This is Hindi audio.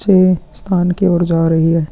अच्छे स्थान की ओर जा रही है।